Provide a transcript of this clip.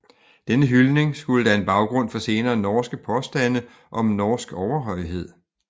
Denne hyldning skulle danne baggrund for senere norske påstande om norsk overhøjhed